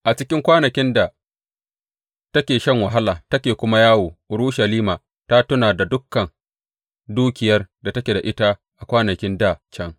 A cikin kwanakin da take shan wahala take kuma yawo Urushalima ta tuna da dukan dukiyar da take da ita a kwanakin dā can.